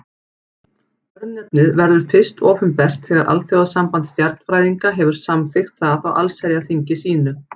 Örnefnið verður fyrst opinbert þegar Alþjóðasamband stjarnfræðinga hefur samþykkt það á allsherjarþingi sínu.